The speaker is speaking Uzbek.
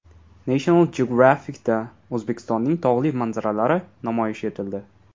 National Geographic’da O‘zbekistonning tog‘li manzaralari namoyish etildi .